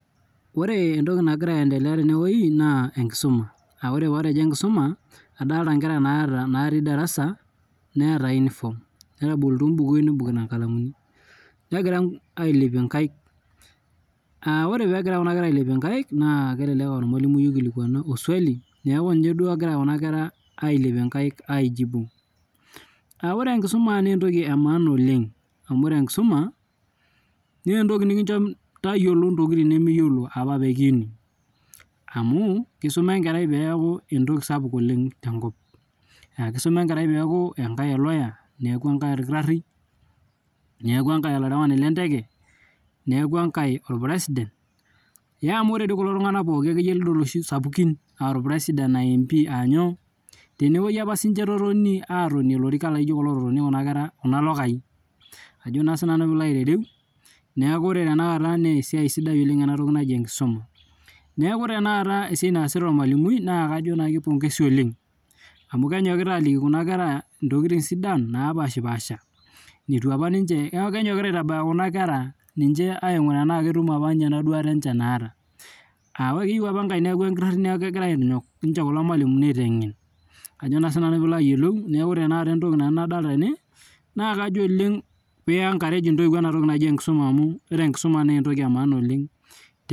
Orw entokinagira aendelea tenewueji na enkusuma na ore patejo enkisuma adolta nkera naati darasa neeta uniform onkalamuni negira ailepie nkaik aa orw pegira ailepie nkaik na kelelek aa ormalimui oikilikuanuq oswali neaku ninye duo egira kuna ailepie nkaik aijibu amu orw enkisuma na entoki etipat oleng amu ore enkisuma na entoki nikincho tayiolo ntokitin nimiyiolo apa pekiini amu kisuma enkerai neaku entoki sapuk oleng akisuma enkerai peaku eloya peaku enkae orkitari neaku enkae enkarewani enteke neaku enkae orpresident amu ore kulo tunganak lidol sapukin tenewoi apa sinche etotoni atonie lorikan laijo kulo ilokai ajo na sinanu pilo aitereu neaku ore esiai naasta ormalimui na kajo kepongezi oleng amu egira anyok aliki nkera ntokitin sidan napashipaasha neaku kenyokita aingura nkera ana ketum ninche enduata naata aa keyieu apa enkae neaku orkitari nakepuoi aitengen neaku ore entoki nadolita tene na ore enkisuma na etoki etipat oleng